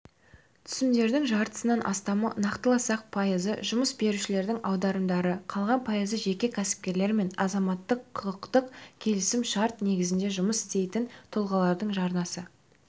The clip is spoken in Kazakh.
түсімдердің жартысынан астамы нақтыласақ пайызы жұмыс берушілердің аударымдары қалған пайызы жеке кәсіпкерлер мен азаматтық-құқықтық келісім-шарт негізінде жұмыс істейтін тұлғалардың жарнасы